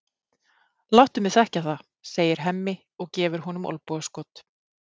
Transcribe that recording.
Láttu mig þekkja það, segir Hemmi og gefur honum olnbogaskot.